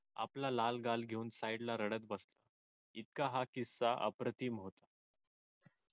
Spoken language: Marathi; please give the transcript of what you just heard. आपला लाल गाल घेऊन तो side ला रडत बसला इतका हा अप्रतिम